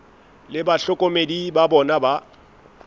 le bahlokomedi ba bona ba